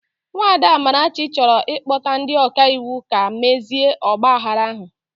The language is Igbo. Nwada Amarachi chọrọ ịkpọta ndi ọka iwu ka mezie ọgbaaghara ahụ